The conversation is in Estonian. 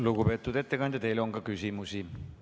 Lugupeetud ettekandja, teile on küsimusi.